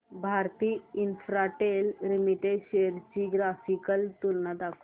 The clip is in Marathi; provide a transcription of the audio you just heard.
भारती इन्फ्राटेल लिमिटेड शेअर्स ची ग्राफिकल तुलना दाखव